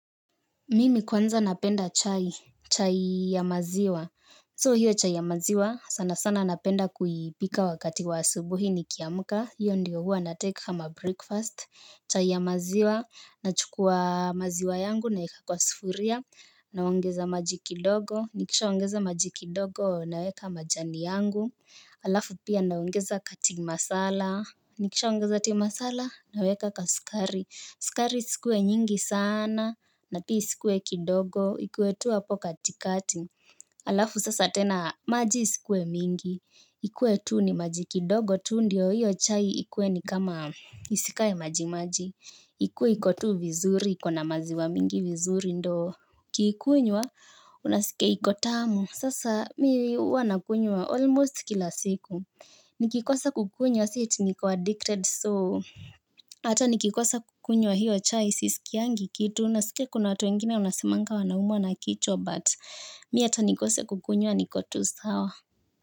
Mimi kwanza napenda chai, chai ya maziwa. So hio chai ya maziwa sana sana napenda kuipika wakati wa asubuhi nikiamka. Hio ndo huwa na take kama breakfast. Chai ya maziwa, nachukua maziwa yangu naweka kwa sufuria naongeza maji kidogo. Nikishaongeza maji kidogo, na weka majani yangu alafu pia naongeza ka tea masala. Nikisha ongeza tea masala, naweka ka sukari. Sukari iskuwe nyingi sana na pia isikuwe kidogo ikuwe tu hapo kati kati. Alafu sasa tena, maji isikue mingi. Ikue tu ni maji kidogo, tu ndio hiyo chai ikue ni kama isikae maji maji. Ikuwe iko tu vizuri ikona maziwa mingi vizuri ndo ukiikunywa, unaskia iko tamu sasa mi huwa nakunywa almost kila siku. Nikikosa kukunywa, si eti niko addicted, so. Ata nikikosa kukunywa hiyo chai sisikiangi kitu. Nasikia kuna watu wengine wanasemanga wanaumwa na kichwa But mi ata nikosa kukunywa niko tu sawa.